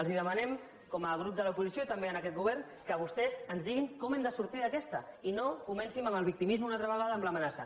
els demanem com a grup de l’oposició també en aquest govern que vostès ens diguin com n’hem de sortir d’aquesta i no comencin amb el victimisme una altra vegada amb l’amenaça